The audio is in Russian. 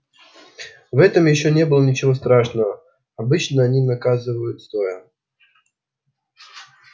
в этом ещё не было ничего страшного обычно они наказывают стоя